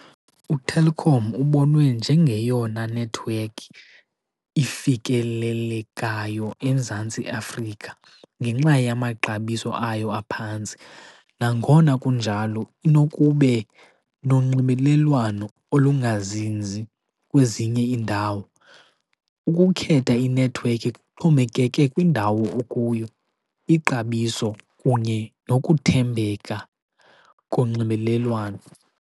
UTelkom ubonwe njengeyona nethiwekhi ifikelelekayo eMzantsi Afrika ngenxa yamaxabiso ayo aphantsi. Nangona kunjalo inokube nonxibelelwano olungazinzi kwezinye indawo. Ukukhetha inethiwekhi kuxhomekeke kwindawo okuyo, ixabiso, kunye nokuthembeka konxibelelwano.